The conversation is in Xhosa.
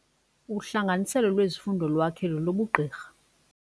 Uhlanganiselo lwezifundo lwakhe lolobugqirha.